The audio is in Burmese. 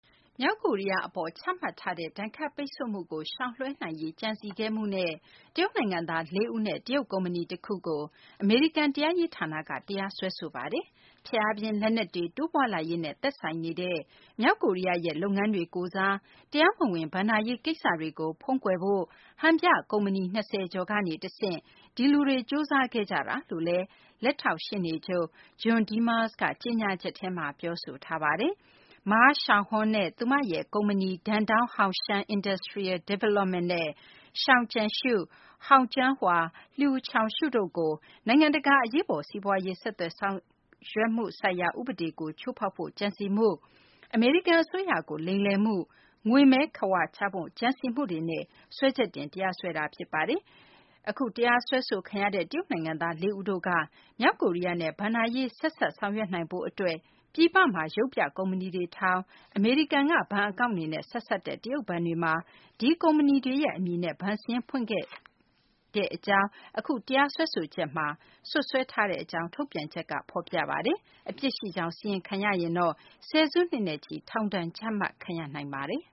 မြောက်ကိုရီးယား အပေါ် ချမှတ်ထားတဲ့ ဒဏ်ခတ်ပိတ်ဆို့မှုကို ရှောင်လွှဲနိုင်ရေး ကြံစည်ခဲ့မှုနဲ့ တရုတ်နိုင်ငံသား ၄ ဦးနဲ့ တရုတ် ကုမ္ပဏီ တခုကို အမေရိကန် တရားရေး ဌာနက တရားစွဲဆိုလိုက်ပါတယ်။ ဖျက်အားပြင်း လက်နက်တွေ တိုးပွားလာရေးနဲ့ သက်ဆိုင်နေတဲ့ မြောက်ကိုရီးယားရဲ့ လုပ်ငန်းတွေကိုယ်စား တရားမဝင် ဘဏ္ဍာရေးကိစ္စတွေကို ဖုံးကွယ်ဖို့ ဟန်ပြ ကုမ္ပဏီ ၂၀ ကျော်ကနေ တဆင့် ဒီလူတွေက ကြိုးစားခဲ့ကြတယ်လို့လည်း လက်ထောက် ရှေ့နေချုပ် John Demers က ကြေညာချက်ထဲမှာ ပြောဆိုထားပါတယ်။ Ma Xiaohong နဲ့ သူမရဲ့ ကုမ္ပဏီ Dandong Hongxiang Industrial Development နဲ့ Zhou Jianshu, Hong Jinhua, and Luo Chuanxu တို့ကို နိုင်ငံတကာ အရေးပေါ် စီးပွားရေး ဆောင်ရွက်မှုဆိုင်ရာ ဥပဒေကို ချိုးဖောက်ဖို့ ကြံစည်မှု အမေရိကန် အစိုးရကို လိမ်လည်မှု၊ ငွေမဲခဝါချဖို့ ကြံစည်မှုတွေနဲ့ စွဲချက်တင် တရားစွဲတာ ဖြစ်ပါတယ်။ အခု တရားစွဲခံရတဲ့ တရုတ် နိုင်ငံသား ၄ ဦးတို့က မြောက်ကိုရီးယားနဲ့ ဘဏ္ဍာရေး ဆက်စပ်ဆောင်ရွက်နိုင်ဖို့ အတွက် ပြည်ပမှာ ရုပ်ပြ ကုမ္ပဏီတွေ ထောင်ပြီး အမေရိကန်က ဘဏ်အကောင့်တွေနဲ့ ဆက်စပ်တဲ့ တရုတ်ဘဏ်တွေမှာ ဒီကုမ္ပဏီတွေရဲ့အမည်နဲ့ ဘဏ်စာရင်းတွေကို ဖွင့်ခဲ့ကြောင်း အခု တရားစွဲဆိုချက်မှာ စွပ်စွဲထားတဲ့ အကြောင်း ထုတ်ပြန်ချက်မှာ ဖော်ပြထားပါတယ်။ အပြစ်ရှိကြောင်း စီရင်ခံရရင်တော့ ဆယ်စုနှစ်နဲ့ချီ ထောင်ဒဏ် ကျခံရနိုင်ပါတယ်